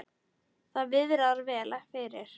Það viðrar vel fyrir